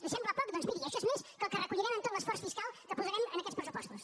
li sembla poc doncs miri això és més que el que recollirem amb tot l’esforç fiscal que posarem en aquests pressupostos